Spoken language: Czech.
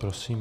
Prosím.